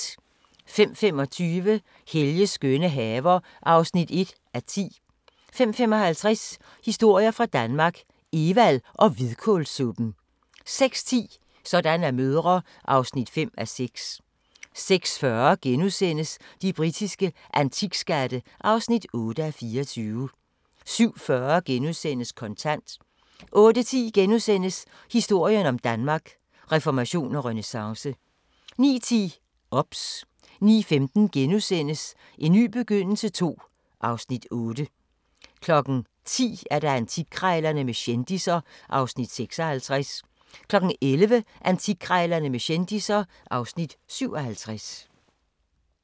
05:25: Helges skønne haver (1:10) 05:55: Historier fra Danmark - Evald og hvidkålssuppen 06:10: Sådan er mødre (5:6) 06:40: De britiske antikskatte (8:24)* 07:40: Kontant * 08:10: Historien om Danmark: Reformation og renæssance * 09:10: OBS 09:15: En ny begyndelse II (Afs. 8)* 10:00: Antikkrejlerne med kendisser (Afs. 56) 11:00: Antikkrejlerne med kendisser (Afs. 57)